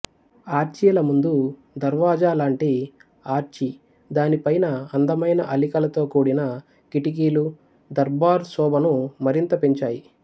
ఆర్చీల ముందు దర్వాజా లాంటి ఆర్చి దానిపైన అందమైన అల్లికలతో కూడిన కిటికీలు దర్బార్ శోభను మరింత పెంచాయి